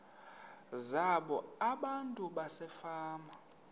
zabo abantu basefama